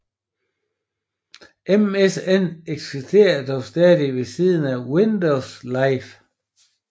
MSN eksistere dog stadig ved siden af Windows Live